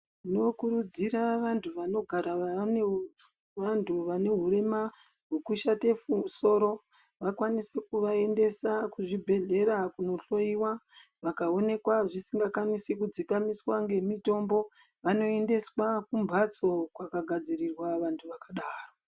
Tinokurudzira vantu vanogara vane vantu vane hurema hwekushate soro vakwanise kuvaendesa kuzvibhedhlera kunohloiwa. Vakaonekwa zvisingakwanisi kudzikamiswa nemitombo vanoendeswa kunhatso kwakagadzirirwa vantu vakadaro.